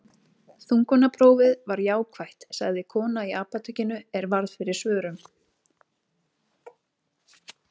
Þungunarprófið var jákvætt, sagði kona í apótekinu er varð fyrir svörum.